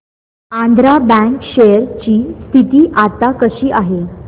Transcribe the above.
Andhra bank share ची स्थिती आता कशी आहे